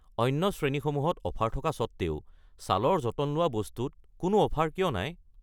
অন্য শ্ৰেণীসমূহত অফাৰ থকা স্বত্তেও ছালৰ যতন লোৱা বস্তু ত কোনো অফাৰ কিয় নাই?